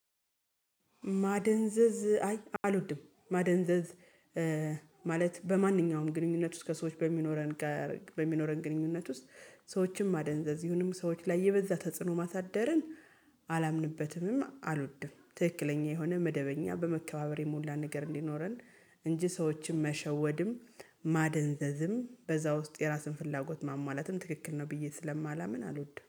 ማደንዘዝ አይ አልወድም ማደንዘዝ። ማለት በማንኛውም ግንኙነት ውስጥ ከሰዎች በሚኖረን ጋር በሚኖረን ግንኙነት ውስጥ። ሰዎችንም ማደንዘዝ ይሁንም ሰዎች ላይ የበዛ ተጽዕኖ ማሳደርን አላምንበትምም አልወድም። ትክክለኛ የሆነ መደበኛ በመከባበር የሞላ ነገር እንዲኖረን። እንጂ ሰዎችን መሸወድም ማደንዘዝም በዛ ውስጥ የራስን ፍላጎት ማሟላትም ትክክል ነው ብዬ ስለማላምን አልወድም